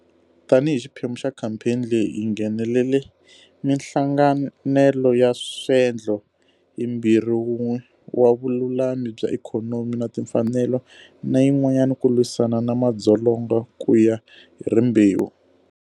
Tanihi xiphemu xa khampheni leyi, hi nghenele 'Mihlanganelo ya Swendlo'yimbirhi, wun'we wa vululami bya ikhonomi na timfanelo na yin'wana ku lwisana na madzolonga ku ya hi rimbewu.